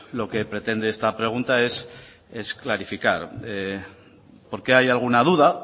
lo que pretende esta pregunta es clarificar porque hay alguna duda al